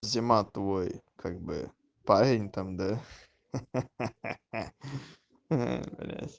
зима твой как бы парень там да ха-ха